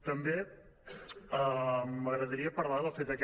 també m’agradaria parlar del fet aquest